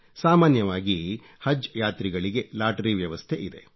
ಸಾಮಾನ್ಯವಾಗಿ ಹಜ್ ಯಾತ್ರಿಗಳಿಗೆ ಲಾಟರಿ ವ್ಯವಸ್ಥೆ ಇದೆ